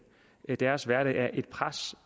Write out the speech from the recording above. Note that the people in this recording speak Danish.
deres hverdag er presset